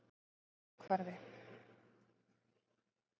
Fellahvarfi